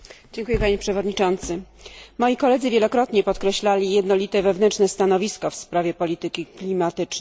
Panie Przewodniczący! Moi koledzy wielokrotnie podkreślali jednolite wewnętrzne stanowisko w sprawie polityki klimatycznej.